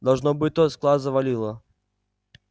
должно быть тот склад завалило